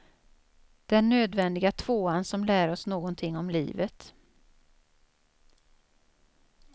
Den nödvändiga tvåan som lär oss någonting om livet.